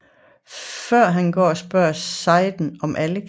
Før han går spørger Sayid om Alex